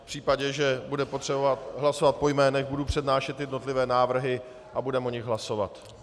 V případě, že bude potřeba hlasovat po jménech, budu přednášet jednotlivé návrhy a budeme o nich hlasovat.